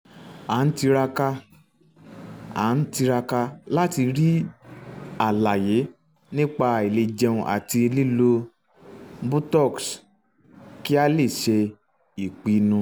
à ń tiraka à ń tiraka láti rí àlàyé nípa àìlèjẹun àti lílo botox kí a lè ṣe ìpinnu